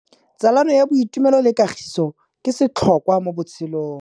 Tsalano ya boitumelo le kagiso ke setlhôkwa mo botshelong.